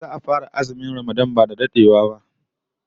Za'a fara azumin Ramadan ba dadewa